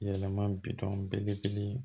Yɛlɛma bi don belebele